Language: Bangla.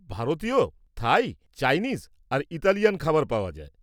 ভারতীয়, থাই, চাইনিজ আর ইতালিয়ান খাবার পাওয়া যায়।